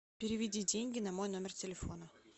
переведи деньги на мой номер телефона